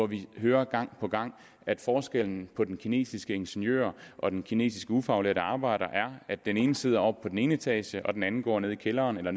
vi hører gang på gang at forskellen på den kinesiske ingeniør og den kinesiske ufaglærte arbejder er at den ene sidder på den ene etage mens den anden går nede i kælderen eller